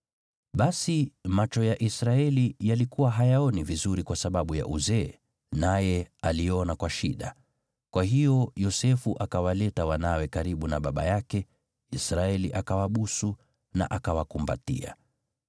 Basi macho ya Israeli yalikuwa hayaoni vizuri kwa sababu ya uzee, naye aliona kwa shida. Kwa hiyo Yosefu akawaleta wanawe karibu na baba yake, Israeli akawabusu na akawakumbatia.